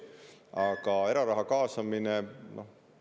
Aga eraraha kaasamine?